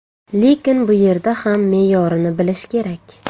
Lekin bu yerda ham me’yorini bilish kerak.